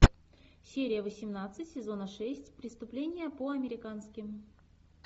серия восемнадцать сезона шесть преступление по американски